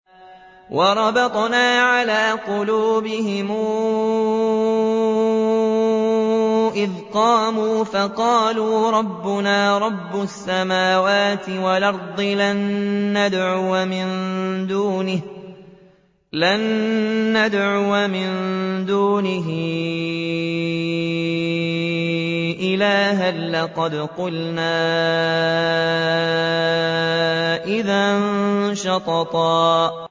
وَرَبَطْنَا عَلَىٰ قُلُوبِهِمْ إِذْ قَامُوا فَقَالُوا رَبُّنَا رَبُّ السَّمَاوَاتِ وَالْأَرْضِ لَن نَّدْعُوَ مِن دُونِهِ إِلَٰهًا ۖ لَّقَدْ قُلْنَا إِذًا شَطَطًا